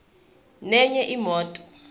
nenye imoto